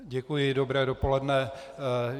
Děkuji, dobré dopoledne.